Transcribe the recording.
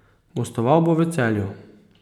Gostoval bo v Celju.